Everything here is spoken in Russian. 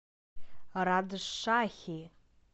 раджшахи